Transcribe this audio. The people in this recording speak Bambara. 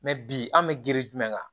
bi an bɛ girin jumɛn kan